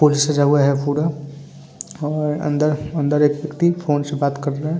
फूल से सजा हुआ है पुरा और अंदर-अंदर एक व्यक्ति फ़ोन से बात कर रहा है ।